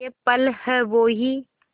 ये पल हैं वो ही